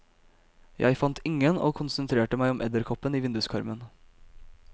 Jeg fant ingen og konsentrerte meg om edderkoppen i vinduskarmen.